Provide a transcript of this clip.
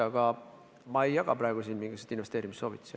Aga ma ei jaga siin praegu mingisuguseid investeerimissoovitusi.